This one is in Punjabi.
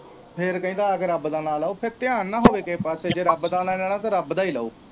ਫਿਰ ਕਹਿੰਦਾ ਆ ਕੇ ਰੱਬ ਦਾ ਨਾਂ ਲਉ ਫਿਰ ਧਿਆਨ ਨਾ ਹੋਵੇ ਕਿਸੇ ਪਾਸੇ ਜੇ ਰੱਬ ਦਾ ਨਾਂ ਲੈਣਾ ਤੇ ਰੱਬ ਦਾ ਹੀ ਲਉ।